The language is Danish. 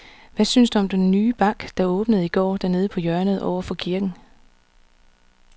Hvad synes du om den nye bank, der åbnede i går dernede på hjørnet over for kirken?